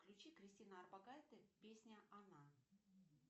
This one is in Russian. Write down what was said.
включи кристина орбакайте песня она